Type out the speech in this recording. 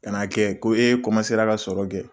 Ka n' a kɛ ko e kɔmasera ka sɔrɔ kɛ